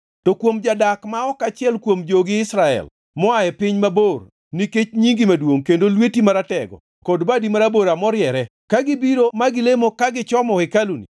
“To kuom jadak ma ok achiel kuom jogi Israel moa e piny mabor nikech nyingi maduongʼ kendo lweti maratego kod badi marabora moriere, ka gibiro ma gilemo ka gichomo hekaluni,